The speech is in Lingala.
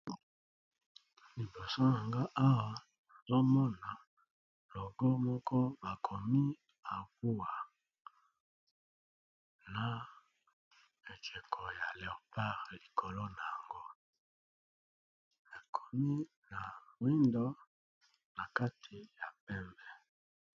Liboso nanga awa nazomona logo moko bakomi abua na ekeko ya leopart likolo na yango ekomi ya windo na kati ya pembe.